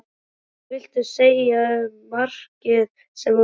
Hvað viltu segja um markið sem þú skoraðir?